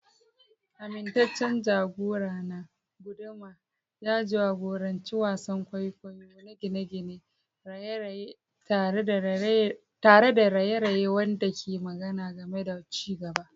Amintaccen jagorana, guduma, ya jagoranci wasan kwaikwayo na gine-gine, raye-raye tare da raye-raye wanda ke magana game da ci gaba.